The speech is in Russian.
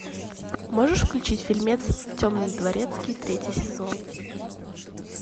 можешь включить фильмец темный дворецкий третий сезон